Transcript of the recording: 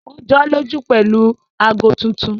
Wọ́n jọ́lọ́jú pẹ̀lú ago tuntun